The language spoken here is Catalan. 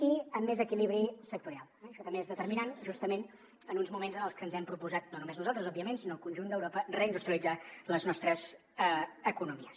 i amb més equilibri sectorial això també és determinant justament en uns moments en els que ens hem proposat no només nosaltres òbviament sinó el conjunt d’europa reindustrialitzar les nostres economies